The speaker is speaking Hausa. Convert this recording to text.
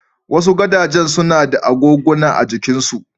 Wasu gadajen suna da agoguna a jikinsu.